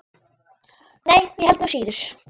Nei, ég held nú síður.